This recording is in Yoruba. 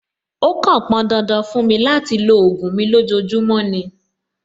Ó kàn pọn dandan fún mi láti lo ògùn mi lójoojúmọ́ ni.